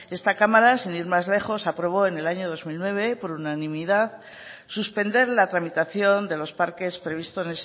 esta cámara sin ir más lejos aprobó en el año dos mil nueve por unanimidad suspender la tramitación de los parques previstos